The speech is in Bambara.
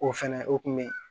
O fɛnɛ o kun be yen